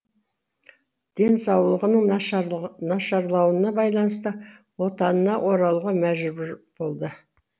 денсаулығының нашарлауына байланысты отанына оралуға мәжбүр болды